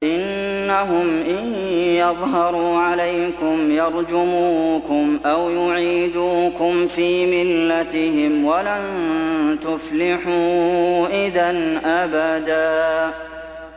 إِنَّهُمْ إِن يَظْهَرُوا عَلَيْكُمْ يَرْجُمُوكُمْ أَوْ يُعِيدُوكُمْ فِي مِلَّتِهِمْ وَلَن تُفْلِحُوا إِذًا أَبَدًا